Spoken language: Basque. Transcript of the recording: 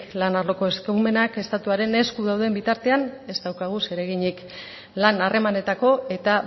lan arloko eskumenak estatuaren esku dauden bitartean ez daukagu zereginik lan harremanetako eta